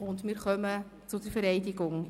Wir kommen zur Vereidigung.